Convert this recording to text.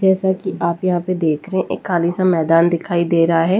जैसा कि आप यहां पे देख रहे हैं एक खाली सा मैदान दिखाई दे रहा है।